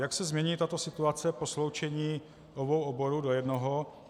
Jak se změní tato situace po sloučení obou oborů do jednoho.